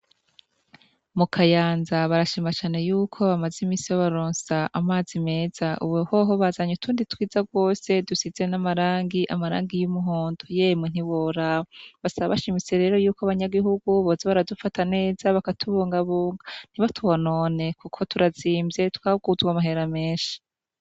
Mu kayanza barashimacane yuko bamaze imisi baronsia amazi meza uwehoho bazanye utundi twiza rwose dusize n'amarangi amarangi y'umuhondo yemwe ntibora basa bashimise rero yuko abanyagihugubozi baradufata neza bakatubungabunga ntibatubonone, kuko turazimvye twawuzwe amaherame eshi.